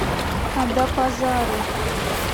адапазары